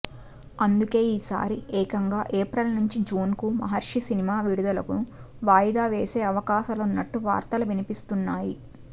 అందుకే ఈసారి ఏకంగా ఏప్రిల్ నుంచి జూన్ కు మహర్షి సినిమా విడుదలను వాయిదా వేసే అవకాశాలున్నట్టు వార్తలు వినిపిస్తున్నాయి